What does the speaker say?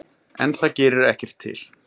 En það gerir ekkert til.